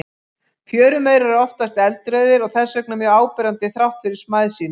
Fjörumaurar eru oftast eldrauðir og þess vegna mjög áberandi þrátt fyrir smæð sína.